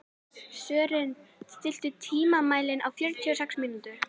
Sören, stilltu tímamælinn á fjörutíu og sex mínútur.